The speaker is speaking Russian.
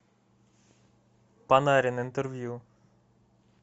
панарин интервью